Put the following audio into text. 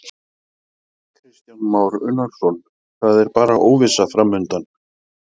Kristján Már Unnarsson: Það er bara óvissa framundan?